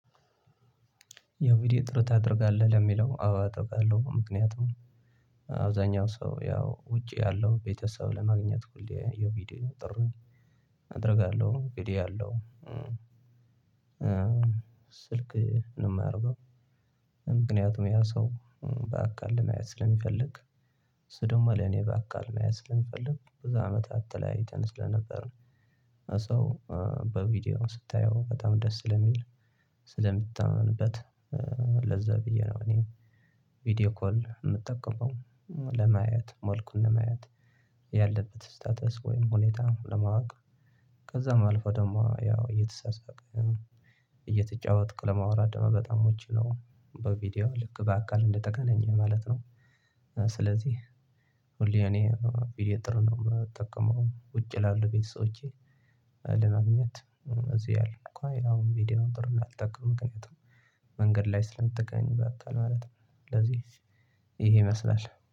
ያው እንግዲ ጥሩ ታደርጋለህ ለሚለው አዎ አጠብቃለሁ ምክንያቱም አብዛኛው ሰው ያው ውጪ ያለው ቤተሰብ ለማግኘት ሁሌ የቪዲዮ ጥሪ አደርጋለሁ እንግዲህ ያለው ስልክ ነው የማረገው። ምክንያቱም ያ ሰው በአካል ለማየት ስለሚፈልግ ስደውማ ለኔ በአካል ስለሚፈልግ በዙ አመታት ተለያይተን ስለነበር ነው ሰው በቪዲዮ ስታየው በጣም ደስ ስለሚል ስለምታየውበት ለዛ ብዬ ነው። እኔ ቪዲዮ ኮል የምጠቀመው ለማየት መልኩን ለማየት ያለበት ስታተስ ወይም ሁኔታ ለማወቅ ከዛም አልፎ ደግሞ ያው እየተሳሳቀ እየተጫወትነኩ ለመዋራት ደግሞ በጣም ምቹ ነው። በቪዲዮ ልክ በአካል እንደተገናኘህ ማለት ነው። ስለዚህ ሁሌ እኔ ቪዲዮ ጥሩ ነው የምጠቀመው ውጭ ይ ላሉ ቤት ሰቦቼ። ለማግኘት እዚህ ያለን እኮ አሁን ቪዲዮውን ጥሩ እንዳልጠቀም ምክንያቱም መንገድ ላይ ስለምትገኝ በአካል ማለት ነው። ስለዚህ ይሄ ይመስላል